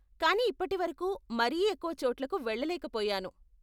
కానీ ఇప్పటి వరకు మరీ ఎక్కువ చోట్లకు వెళ్ళలేక పోయాను.